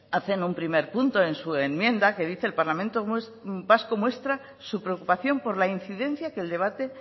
hacen un primer punto en su enmienda que dice el parlamento vasco muestra su preocupación por la incidencia que el debate